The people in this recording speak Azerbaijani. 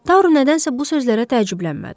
Taru nədənsə bu sözlərə təəccüblənmədi.